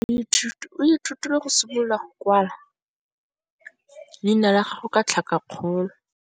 Moithuti o ithutile go simolola go kwala leina la gagwe ka tlhakakgolo.